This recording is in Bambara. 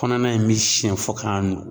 Kɔnɔna in bɛ siyɛn fɔ k'a nugu.